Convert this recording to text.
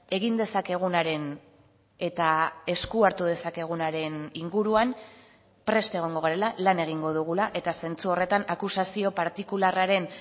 egin dezakegunaren eta esku hartu dezakegunaren inguruan prest egongo garela lan egingo dugula eta zentzu horretan akusazio partikularraren